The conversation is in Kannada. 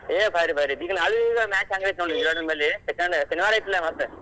ಹೇ ಭಾರಿ ಭಾರಿ ಈಗ ನಾಳಿದ್ match ಹೆಂಗೈತಿ ನೋಡ್ ವಿರಾಟ್ ಹಿಂಬಾಲಿ ಏನ್ ಶನಿವಾರ ಐತ್ಲಾ ಮತ್.